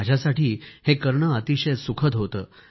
माझ्यासाठी हे करणे अतिशय सुखद होते